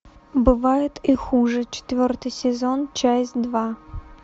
бывает и хуже четвертый сезон часть два